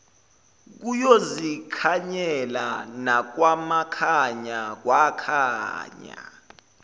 kuyozikhanyela nakwamakhanya kwakhanya